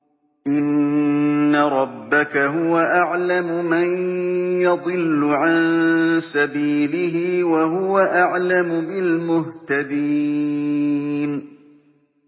إِنَّ رَبَّكَ هُوَ أَعْلَمُ مَن يَضِلُّ عَن سَبِيلِهِ ۖ وَهُوَ أَعْلَمُ بِالْمُهْتَدِينَ